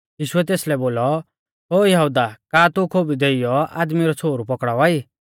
यीशुऐ तेसलै बोलौ ओ यहुदा का तू खोबु देइयौ आदमी रौ छ़ोहरु पौकड़ावा ई